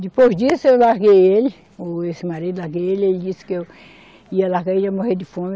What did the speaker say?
Depois disso eu larguei ele, ou esse marido larguei ele e ele disse que eu ia largar ele e ia morrer de fome.